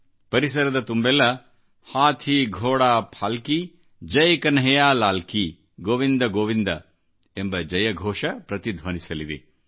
ಪರಿಸರದ ತುಂಬೆಲ್ಲ ಹಾಥಿ ಘೋಡಾ ಪಾಲ್ಕಿ ಜಯ್ ಕನ್ಹಯ್ಯಾಲಾಲ್ ಕಿಗೋವಿಂದ ಗೋವಿಂದ ಎಂಬ ಜಯಘೋಷ ಪ್ರತಿಧ್ವನಿಸಲಿದೆ